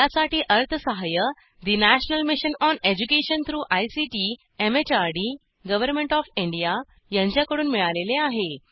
यासाठी अर्थसहाय्य national mission on education through ICT MHRD government of India यांच्याकडून मिळालेले आहे